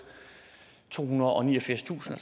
tohundrede og niogfirstusind